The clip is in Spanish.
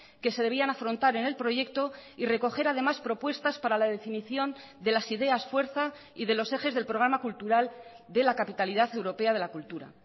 que se debían afrontar en el proyecto y recoger además propuestas para la definición de las ideas fuerza y de los ejes del programa cultural de la capitalidad europea de la cultura